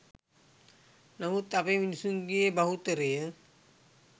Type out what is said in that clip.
නමුත් අපේ මිනිසුන්ගෙ බහුතරය